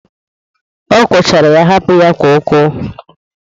Akwọchara ya hapụ ya ka ọkọọ.